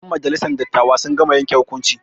Ƴen majalisar dattawa sun gama yanke hukunci.